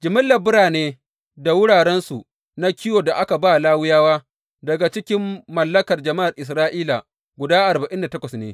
Jimillar birane da wurarensu na kiwon da aka ba Lawiyawa daga cikin mallakar jama’ar Isra’ila guda arba’in da takwas ne.